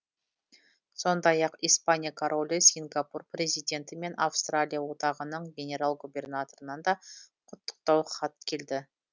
сондай ақ испания королі сингапур президенті мен австралия одағының генерал губернаторынан да құттықтау хат келді